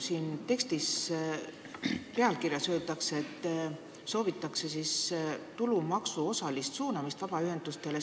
Selle teksti pealkirjas öeldakse, et soovitakse tulumaksu osalist suunamist vabaühendustele.